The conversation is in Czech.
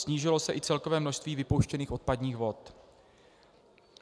Snížilo se i celkové množství vypouštěných odpadních vod.